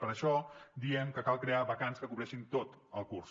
per això diem que cal crear vacants que cobreixin tot el curs